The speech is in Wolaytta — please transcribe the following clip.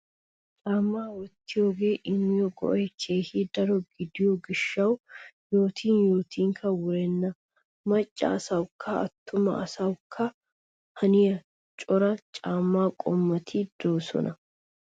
Caammaa wottiyogee immiyo go'ay keehi daro gidiyo gishshawu yootin yootinkka wurenna. Maccaa asawukka attumaa asawukka haniya cora caammaa qommoti de"oosona